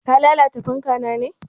Ka lalata fanka na ne?